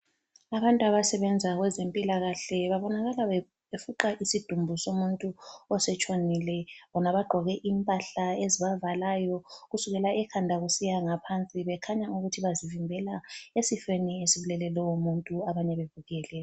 Abantu abasebenza kwezempilakahle babonakala befuqa isidumbu somuntu osetshonile bona bagqoke impahla ezibavalayo kusukela ekhanda kusiya ngaphansi bekhanya ukuthi bazivimbela esifeni esibulele lowomuntu abanye bebukele.